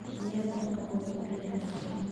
Miyaadan qaboojin biyaha?